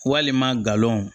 Walima galon